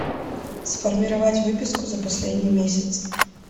сформировать выписку за последний месяц